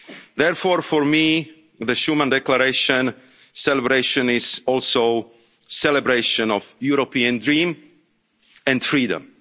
the border. Therefore, for me, the Schuman Declaration celebration is also a celebration of the European dream